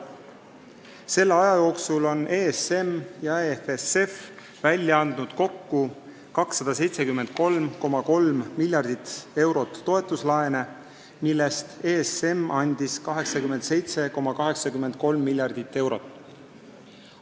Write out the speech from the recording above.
Selle aja jooksul on ESM ja EFSF välja andnud kokku 273,3 miljardit eurot toetuslaene, millest ESM andis 87,83 miljardit eurot.